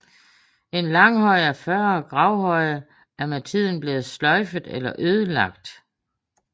En langhøj og 40 gravhøje er med tiden blevet sløjfet eller ødelagt